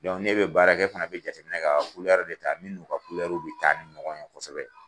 n'e bɛ baarakɛ i fana bɛ jate minɛ kɛ ka de ta min n'u ka kulɛriw bɛ taa ni ɲɔgɔn ye kosɛbɛ.